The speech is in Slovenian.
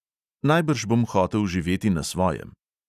Najbrž bom hotel živeti na svojem.